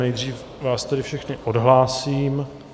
Nejdřív vás tedy všechny odhlásím.